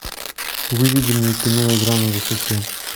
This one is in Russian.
выведи мне кино игра на высоте